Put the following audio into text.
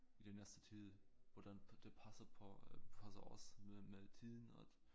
I den næste tid hvordan det passer på passer os med med tiden at